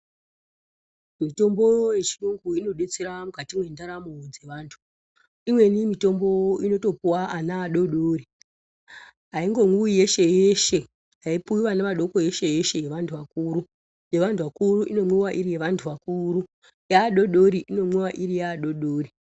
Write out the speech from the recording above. Mitombo yechiyungu inodetsera mukati mwendaramo dzevantu. Imweni mitombo inotopuwa ana adodori, haingomwiwi yeshe yeshe. Haipuwi vana vadoko yeshe-yeshe yevantu vakuru. Yevantu vakuru inomwiwa iri yevantu vakuru, yeadodori inomwiwa iri yeadodori.